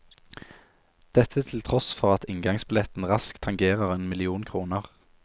Dette til tross for at inngangsbilletten raskt tangerer én million kroner.